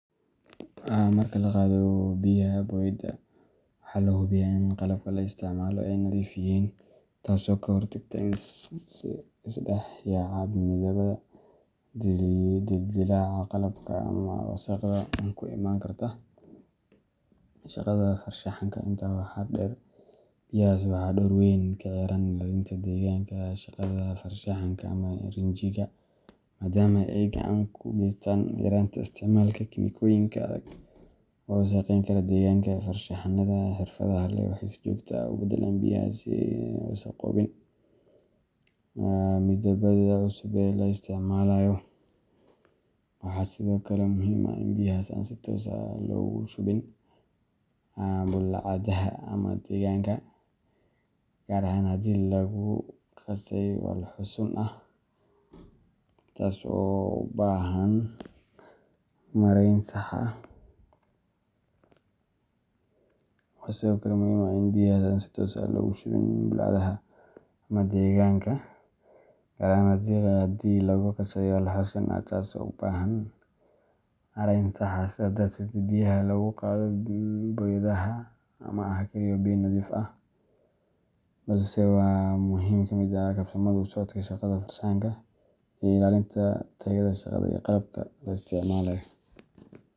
Marka la qado biyaha boyadaha, waxaa la hubiyaa in qalabka la isticmaalo ay nadiif yihiin, taasoo ka hortagta is dhex yaaca midabbada, dildilaaca qalabka, ama wasakhda ku iman karta shaqada farshaxanka. Intaa waxaa dheer, biyahaas waxay door weyn ka ciyaaraan ilaalinta deegaanka shaqada farshaxanka ama rinjiga, maadaama ay gacan ka geystaan yaraynta isticmaalka kiimikooyin adag oo wasakhayn kara deegaanka. Farshaxan-yahannada xirfadda leh waxay si joogto ah u beddelaan biyahaas si aysan u wasakhoobin midabbada cusub ee la isticmaalayo, waxaana sidoo kale muhiim ah in biyahaas aan si toos ah loogu shubin bullaacadaha ama deegaanka, gaar ahaan haddii lagu qasay walxo sun ah, taas oo u baahan maarayn sax ah. Sidaas darteed, biyaha lagu qado boyadaha ma aha oo keliya biyo nadiifin ah balse waa qayb muhiim ah oo ka mid ah habsami u socodka shaqada farshaxanka iyo ilaalinta tayada shaqada iyo qalabka la isticmaalayo.